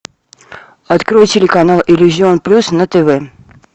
открой телеканал иллюзион плюс на тв